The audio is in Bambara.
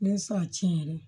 Ne sa tiɲɛ yɛrɛ